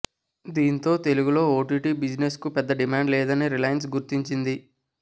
దీంతో తెలుగులో ఓటీటీ బిజినెస్కు పెద్ద డిమాండ్ లేదని రిలయన్స్ గుర్తించింది